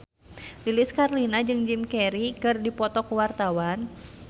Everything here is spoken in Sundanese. Lilis Karlina jeung Jim Carey keur dipoto ku wartawan